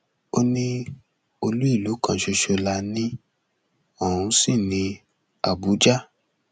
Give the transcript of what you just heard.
ó ní olú ìlú kan ṣoṣo la ní ọhún sí ní àbújá